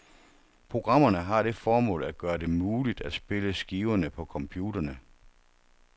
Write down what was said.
Programmerne har det formål at gøre det muligt at spille skiverne på computerne.